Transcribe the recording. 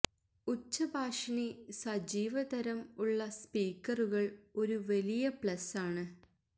ഉച്ചഭാഷിണി സജീവ തരം ഉള്ള സ്പീക്കറുകൾ ഒരു വലിയ പ്ലസ് ആണ്